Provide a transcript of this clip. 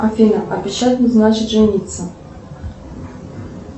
афина обещать не значит жениться